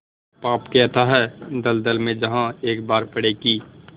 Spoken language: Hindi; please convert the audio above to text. पाप के अथाह दलदल में जहाँ एक बार पड़े कि